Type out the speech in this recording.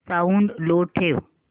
sound लो ठेव